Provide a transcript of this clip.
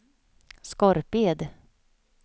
Skorped